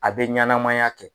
A bɛ ɲanamaya kɛ.